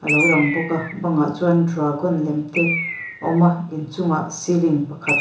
lo lang bawk a bangah chuan dragon lem te awm a inchungah ceiling pakhat.